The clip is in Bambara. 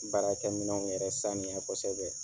Baarakɛ minɛnw yɛrɛ sanuya kosɛbɛ.